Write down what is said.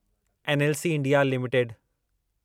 NLC India limited